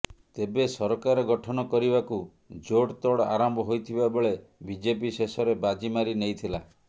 ତେବେ ସରକାର ଗଠନ କରିବାକୁ ଜୋଡତୋଡ୍ ଆରମ୍ଭ ହୋଇଥିବାବେଳେ ବିଜେପି ଶେଷରେ ବାଜି ମାରି ନେଇଥିଲା